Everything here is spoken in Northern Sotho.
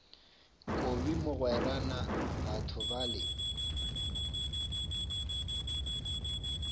kobi mogwera na batho bale